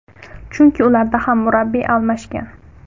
Chunki ularda ham murabbiy almashgan.